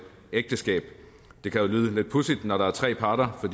ægteskab det kan lyde lidt pudsigt når der er tre parter for